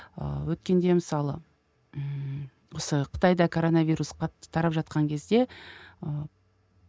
ыыы өйткенде мысалы ммм осы қытайда короновирус қатты тарап жатқан кезде ыыы